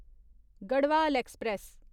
Garhwal express